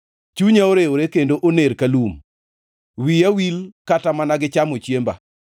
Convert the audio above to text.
Chunya orewore kendo oner ka lum; wiya wil kata mana gi chamo chiemba.